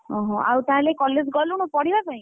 ଓହୋ ଆଉ ତାହାଲେ college ଗଲୁଣି ପଢିବା ପାଇଁ?